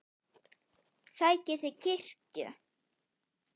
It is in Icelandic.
Sækið þið kirkju?